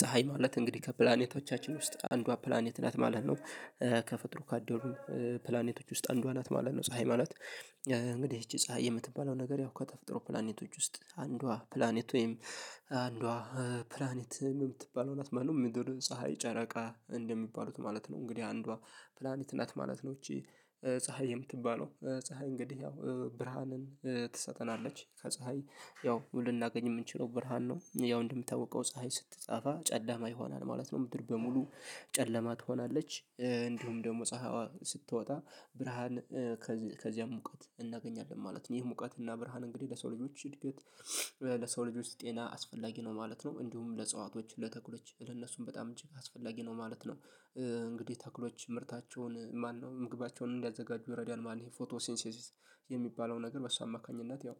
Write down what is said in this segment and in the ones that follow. ፀሀይ ማለት እንግዲህ ከፕላኔቶቻችን ውስጥ አንዷ ፕላኔት ናት ማለት ነው። ከፍጥሩ ካደሩ ፕላኔቶች ውስጥ አንዷ ናት ማለት ነው። ፀሀይ ማለት። እንግዲህ ይቺ ፀሀይ የምትባለው ነገር ያው ከተፈጥሮ ፕላኔቶች ውስጥ አንዷ ፕላኔት ወይም አንዷ ፕላኔት ምን የምትባለው ናት ማለት ነው። ምድር ፀሀይ ጨረቃ እንደሚባሉት ማለት ነው እንግዲህ አንዷ ፕላኔት ናት ማለት ነው። ይቺ ፀሀይ የምትባለው ፀሀይ እንግዲህ ያው ብርሃንን ትሰጠናለች ከፀሀይ ያው ልናገኝ የምንችለው ብርሃን ነው። ያው እንደሚታወቀው ፀሀይ ስትጠፋ ጨለማ ይሆናል ማለት ነው። ምድር በሙሉ ጨለማ ትሆናለች። እንዲሁም ደግሞ ፀሀይዋ ስትወጣ ብርሃን ከዚያም ሙቀት እናገኛለን ማለት ነው። ይህ ሙቀት እና ብርሃን እንግዲህ ለሰው ልጆች እድገት ለሰው ልጆች ጤና አስፈላጊ ነው ማለት ነው። እንዲሁም ለእጸዋቶች ለተክሎች ለነሱም በጣም እጅግ አስፈላጊ ነው ማለት ነው። እንግዲህ ተክሎች ምርታቸውን ማነው ምግባቸውን እንዲያዘጋጁ ይረዳል ማለት ነው። ይሄ ፎቶ ሴንሲሲስ የሚባለው ነገር በሱ አማካኝነት ያው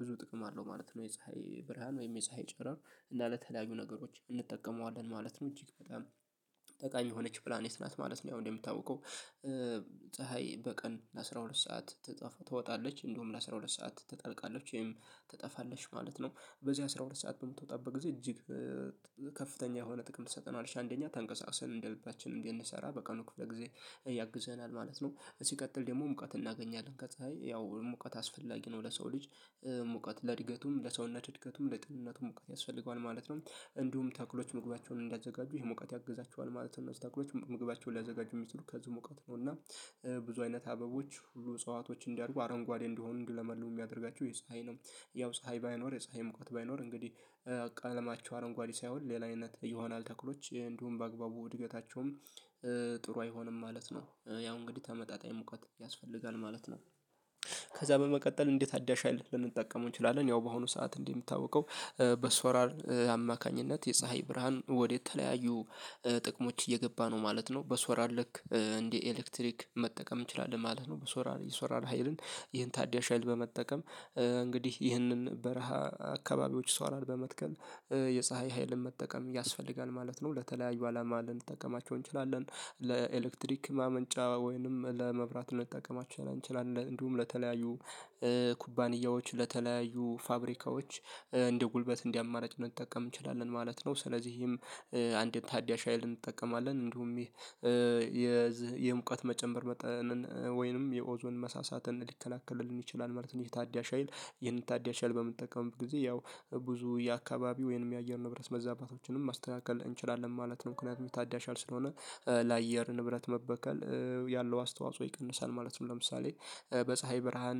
ብዙ ጥቅም አለው ማለት ነው። የፀሀይ ብርሃን ወይም የፀሀይ ጨረር እና ለተለያዩ ነገሮች እንጠቀመዋለን ማለት ነው። እጅግ በጣም ጠቃሚ የሆነች ፕላኔት ናት ማለት ነው። ያው እንደሚታወቀው ፀሀይ በቀን ለአስራ ሁለት ሰዓት ትወጣለች እንዲሁም ለአስራ ሁለት ሰዓት ትጠልቃለች ወይም ትጠፋለች ማለት ነው። በዚህ አስራ ሁለት ሰዓት በምትወጣበት ጊዜ እጅግ ከፍተኛ የሆነ ጥቅም ትሰጠናለሽ አንደኛ ተንቀሳቅሰን እንደ ልባችን እንድንሰራ በቀኑ ክፍለ ጊዜ ያግዘናል ማለት ነው። ሲቀጥል ደግሞ ሙቀት እናገኛለን ከፀሀይ ያው ሙቀት አስፈላጊ ነው ለሰው ልጅ ሙቀት ለእድገቱም ለሰውነት እድገቱም ለጤንነቱም ሙቀት ያስፈልገዋል ማለት ነው። እንዲሁም ተክሎች ምግባቸውን እንዲያዘጋጁ ይሄ ሙቀት ያግዛቸዋል ማለት ነው። እነዚህ ተክሎች ምግባቸውን ሊያዘጋጁ የሚችሉት ከዚህ ሙቀት ነው እና ብዙ አይነት አበቦች ሁሉ እጽዋቶች እንዲያድጉ አረንጓዴ እንዲሆኑ እንዲለመልሙ የሚያደርጋቸው የፀሀይ ነው። ያው ፀሀይ ባይኖር የፀሀይ ሙቀት ባይኖር እንግዲህ ቀለማቸው አረንጓዴ ሳይሆን ሌላ አይነት ይሆናል ተክሎች እንዲሁም በአግባቡ እድገታቸውም ጥሩ አይሆንም ማለት ነው። ያው እንግዲህ ተመጣጣኝ ሙቀት ያስፈልጋል ማለት ነው። ከዛ በመቀጠል እንዴት አዳሻ ልንጠቀም እንችላለን? ያው በአሁኑ ሰዓት እንደሚታወቀው በሶላር አማካኝነት የፀሀይ ብርሃን ወደ ተለያዩ ጥቅሞች እየገባ ነው ማለት ነው። በሶላር ልክ እንደ ኤሌክትሪክ መጠቀም እንችላለን ማለት ነው። በሶላር የሶላር ሀይልን ይሄን ታዳሽ ሀይል በመጠቀም እንግዲህ ይህንን በረሃ አካባቢዎች ሰው ሶላር በመትከል የፀሀይ ኃይልን መጠቀም ያስፈልጋል ማለት ነው። ለተለያዩ አላማ ልንጠቀማቸው እንችላለን። ለኤሌክትሪክ ማመንጫ ወይንም ለመብራት ልንጠቀማቸው እንችላለን እንዲሁም ለተለያዩ ኩባንያዎች ለተለያዩ ፋብሪካዎች እንደ ጉልበት እንደ አማራጭ ልንጠቀም እንችላለን ማለት ነው። ስለዚህም አንድን ታዳሽ ሀይል እንጠቀማለን እንዲሁም የዚህ የሙቀት መጨመር መጠንን ወይንም የኦዞን መሳሳትን ሊከላከልልን ይችላል ማለት ነው። ይህ ታዳሽ ሀይል ይህን ታዳሽ ሀይል በምንጠቀምበት ጊዜ ያው ብዙ የአካባቢው ወይንም የአየር ንብረት መዛባቶችንም ማስተካከል እንችላለን ማለት ነው። ምክንያቱም ታዳሽ ሀይል ስለሆነ ለአየር ንብረት መበከል ያለው አስተዋጽኦ ይቀንሳል ማለት ነው። ለምሳሌ በፀሀይ ብርሃን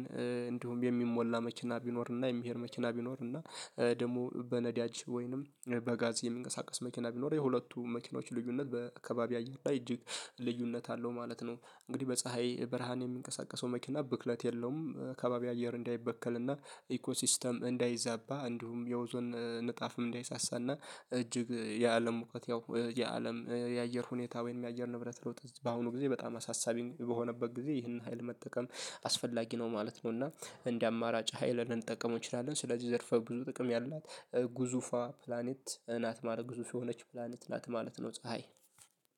እንዲሁም የሚሞላ መኪና ቢኖር እና የሚሄድ መኪና ቢኖር እና ደግሞ በነዳጅ ወይንም በጋዝ የሚንቀሳቀስ መኪና ቢኖር የሁለቱ መኪኖች ልዩነት በከባቢ አየር ላይ እጅግ ልዩነት አለው ማለት ነው። እንግዲህ በፀሀይ ብርሃን የሚንቀሳቀሰው መኪና ብክለት የለውም። ከባቢ አየር እንዳይበከል እና ኢኮ ሲስተም እንዳይዛባ እንዲሁም የኦዞን ንጣፍም እንዳይሳሳ እና እጅግ የአለም ሙቀት ያው የአለም የአየር ሁኔታ ወይም የአየር ንብረት ለውጥ በአሁኑ ጊዜ በጣም አሳሳቢኝ በሆነበት ጊዜ ይህን ሀይል መጠቀም አስፈላጊ ነው ማለት ነው። እና እንደ አማራጭ ሀይል ልንጠቀመው እንችላለን። ስለዚህ ዘርፈ ብዙ ጥቅም ያላት ግዙፏ ፕላኔት ናት ማለት ግዙፍ የሆነች ፕላኔት ናት ማለት ነው። ፀሀይ